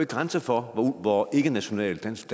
grænser for hvor ikkenational dansk